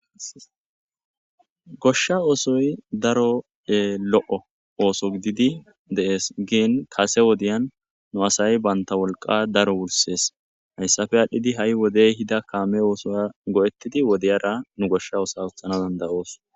Gosha osoy daro lo'o oso gididi deasi gin kase wodiyan nu asay banta woliqa daro worises hayisape adhidi hay wode ehida kame osota goetidi wodiyara nu gosha oso'a otanawu dandaos.